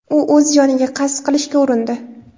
U o‘z joniga qasd qilishga urindi.